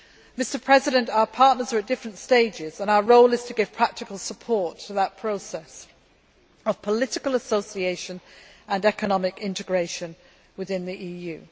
Mr President, our partners are at different stages and our role is to give practical support to that process of political association and economic integration within the EU.